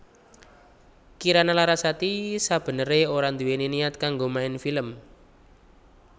Kirana Larasati sabeneré ora nduwèni niat kanggo main film